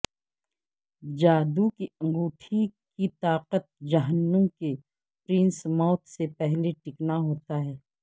جادو کی انگوٹی کی طاقت جہنم کے پرنس موت سے پہلے ٹیکنا ہوتا ہے